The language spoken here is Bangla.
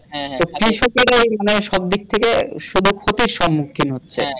এই কৃষকে এই সব দিক থেকে সুযোগ থেকে সম্মুখীন হচ্ছে।